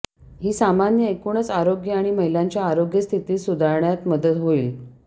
ही सामान्य एकूणच आरोग्य आणि महिलांच्या आरोग्य स्थिती सुधारण्यात मदत होईल